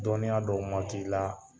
Dɔnniya dɔw ma k'i la